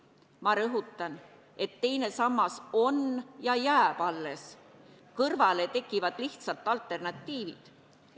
Ma rõhutan, et teine sammas jääb alles, kõrvale tekivad lihtsalt alternatiivid.